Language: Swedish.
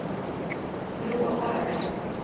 frågar